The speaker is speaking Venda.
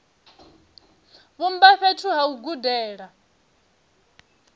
vhumba fhethu ha u gudela